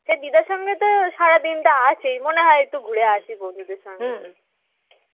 সেই দিদার সঙ্গে সারাদিন তো আছি, মনে হয় ঘুরে আসি বন্ধুদের সঙ্গে